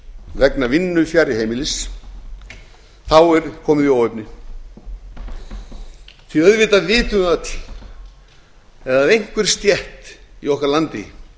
vegna vinnu fjarri heimilis er komið í óefni því að auðvitað vitum við öll að ef einhver stétt í okkar landi